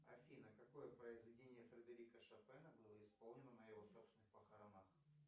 афина какое произведение фредерика шопена было исполнено на его собственных похоронах